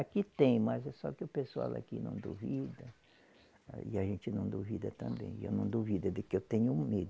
Aqui tem, mas é só que o pessoal aqui não duvida, aí a gente não duvida também, e eu não duvido de que eu tenho medo.